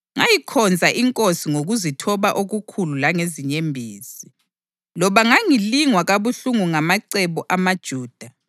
Ngayikhonza iNkosi ngokuzithoba okukhulu langezinyembezi, loba ngangilingwa kabuhlungu ngamacebo amaJuda.